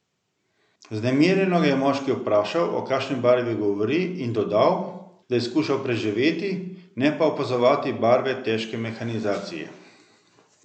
Vznemirjeno ga je moški vprašal o kakšni barvi govori in dodal, da je skušal preživeti, ne pa opazovati barve težke mehanizacije.